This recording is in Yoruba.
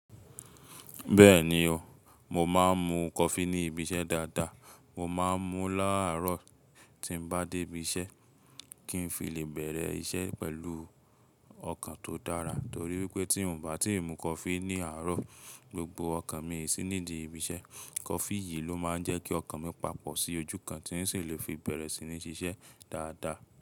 Bẹ́ẹ̀ni o, mo máa ń mu coffee ní ibi iṣẹ́ dáadáa. Mo máa ń mu láàárọ̀ tí n bá dé ibi iṣẹ́ kí n fi lè bẹ̀rẹ̀ iṣẹ́ pẹ̀lú ọkàn tó dára. Torí wípé tí n ò bá ti mu coffee ní àárọ̀, gbogbo ọkàn mi sì ní di ibi iṣẹ́. Coffee yìí ló máa ń jẹ́ kí ọkàn mi pàpọ̀ sí ojú kan tí sì lè fi bẹ̀rẹ̀ si ní ṣiṣẹ́ dáadáa.